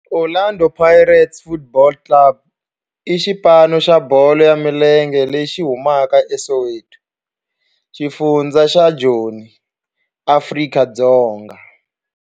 Orlando Pirates Football Club i xipano xa bolo ya milenge lexi humaka eSoweto, xifundzha xa Joni, Afrika-Dzonga.